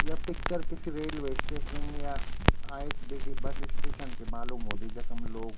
या पिक्चर किसी railway station या आई.एस.बी.टी बस स्टेशन की मालूम हुन्दी जखम लोग --